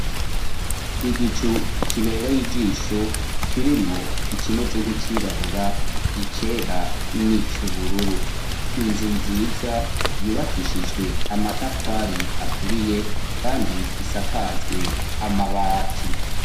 Igicu kibereye ijisho kirimwo ikimeze nk'icirabura icera n'icubururu inzu nziza yubakishijwe amatafari aturiye kandi isakajwe amabati.